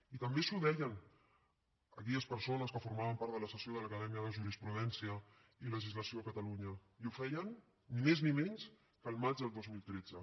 i també els ho deien aquelles persones que formaven part de la sessió de l’acadèmia de jurisprudència i legislació de catalunya i ho feien ni més ni menys que el maig del dos mil tretze